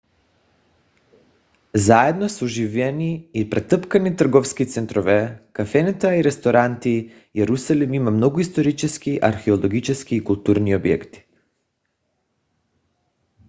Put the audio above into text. заедно с оживени и претъпкани търговски центрове кафенета и ресторанти йерусалим има много исторически археологически и културни обекти